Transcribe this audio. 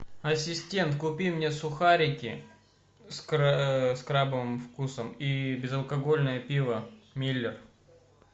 ассистент купи мне сухарики с крабовым вкусом и безалкогольное пиво миллер